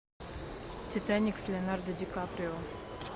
титаник с леонардо ди каприо